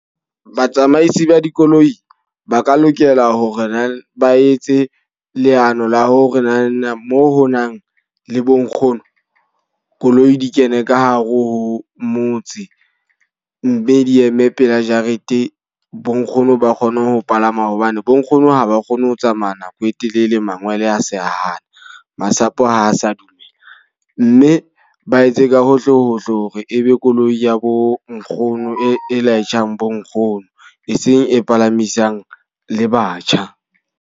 Batsamaisi ba dikoloi, ba ka lokela hore na ba etse leano la ho re na na mo ho nang le bo nkgono koloi di kene ka hare ho motse. Mme di eme pela jarete bo nkgono ba kgone ho palama hobane bo nkgono ha ba kgone ho tsamaya nako e telele mangwele a se a hana masapo, a sa dumela. Mme ba etse ka hohle hohle hore ebe koloi ya bo nkgono, e laetjhang bo nkgono. E seng e palamisang le batjha.